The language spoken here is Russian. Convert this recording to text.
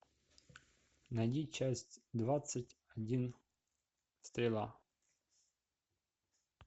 найди часть двадцать один стрела